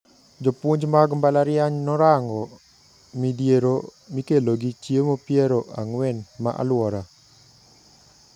Jopuonj mag mbalariany norango midhiero mikelogi chiemo piero ang`wen ne aluora.